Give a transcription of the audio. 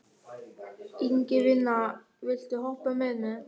Ingifinna, viltu hoppa með mér?